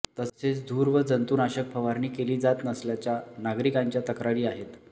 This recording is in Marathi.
तसेच धूर व जंतुनाशक फवारणी केली जात नसल्याच्या नागरिकांच्या तक्रारी आहेत